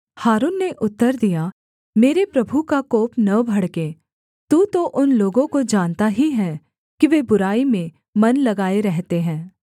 हारून ने उत्तर दिया मेरे प्रभु का कोप न भड़के तू तो उन लोगों को जानता ही है कि वे बुराई में मन लगाए रहते हैं